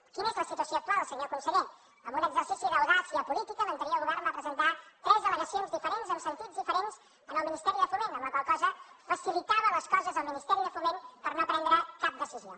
quina és la situació actual senyor conseller amb un exercici d’audàcia política l’anterior govern va presentar tres allegacions diferents en sentits diferents al ministeri de foment amb la qual cosa facilitava les coses al ministeri de foment per no prendre cap decisió